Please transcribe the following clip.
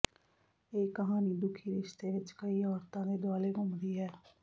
ਇਹ ਕਹਾਣੀ ਦੁਖੀ ਰਿਸ਼ਤੇ ਵਿੱਚ ਕਈ ਔਰਤਾਂ ਦੇ ਦੁਆਲੇ ਘੁੰਮਦੀ ਹੈ